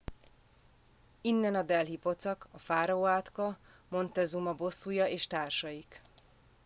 innen a delhi pocak a fáraó átka montezuma bosszúja és társaik